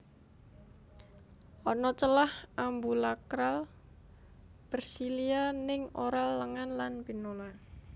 Ana celah ambulakral bersilia ning oral lengan lan pinula